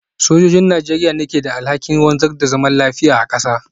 Sojojin Najeriya ne ke da alhakin wanzar da zaman lafiya a kasa.